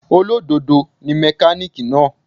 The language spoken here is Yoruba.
Olódodo ni mẹ́kánìkì náà.